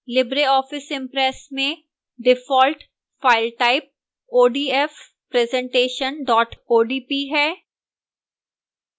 libreoffice impress में default file type odf presentation odp है